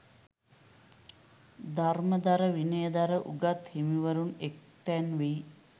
ධර්මධර විනයධර උගත් හිමිවරුන් එක්තැනවී